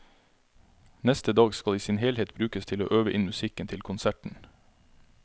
Neste dag skal i sin helhet brukes til å øve inn musikken til konserten.